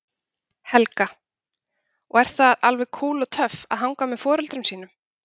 Helga: Og er alveg kúl og töff að hanga með foreldrum sínum?